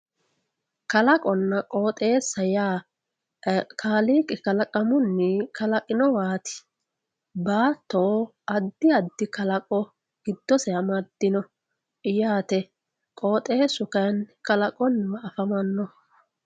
kalaqonna qooxeessaho yaa kaaliiqi kalaqunni kalaqinowaati baatto addi addi kalaqo giddose amaddino yaate qooxeessu kayni kalaqonniwa afamannoho.